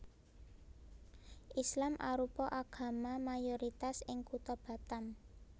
Islam arupa agama mayoritas ing kutha Batam